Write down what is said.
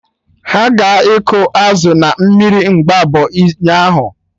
Ha ga-ịkụ azụ na mmiri Mgbabọ ụnyaahụ